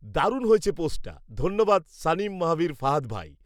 দারুন হয়েছে পোস্টটা৷ধন্যবাদ সানিম মাহবীর ফাহাদ ভাই৷